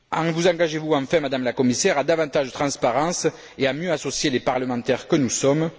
Vous engagez vous enfin, Madame la Commissaire, à davantage de transparence et à mieux associer les parlementaires que nous sommes?